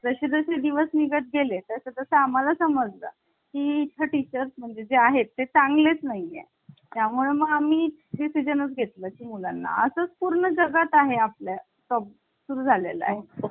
जसजसे दिवस निघत गेले तसं तसं आम्हाला समजा ही इच्छा teachers म्हणजे जे आहेत ते चांगलेच नाही ये. त्यामुळे मग आम्ही सीजन घेतला ची मुलांना असंच पूर्ण जगात आहे आपल्या सुरू झाले आहे